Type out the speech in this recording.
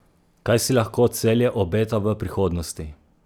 Kaj si lahko Celje obeta v prihodnosti?